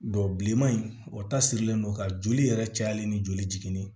bilenman in o ta sirilen don ka joli yɛrɛ cayalen ni joli